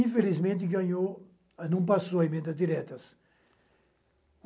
Infelizmente, ganhou, mas não passou a emenda das diretas.